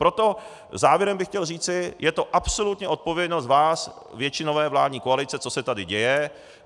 Proto závěrem bych chtěl říci, je to absolutně odpovědnost ás, většinové vládní koalice, co se tady děje.